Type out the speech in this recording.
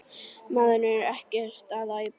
Maðurinn er ekkert að æpa.